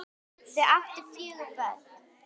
Þau áttu fjögur börn